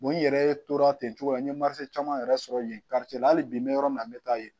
n yɛrɛ tora ten cogo la n ye caman yɛrɛ sɔrɔ yen la hali bi n bɛ yɔrɔ min na n bɛ taa yen